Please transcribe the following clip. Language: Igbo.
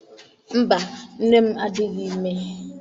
Mba, nne m adịghị ime.